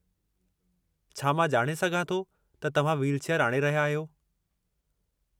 छा मां ॼाणे सघां थो त तव्हां व्हीलचेयरु आणे रहिया आहियो?